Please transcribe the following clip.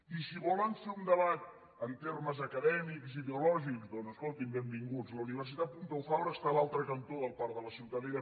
i si volen fer un debat en termes acadèmics ideològics doncs escoltin benvinguts la universitat pompeu fabra està a l’altre cantó del parc de la ciutadella